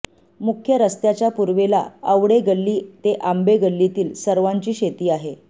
मुख्य रस्त्याच्या पूर्वेला अवडे गल्ली ते आंबे गल्लीतील सर्वांची शेती आहे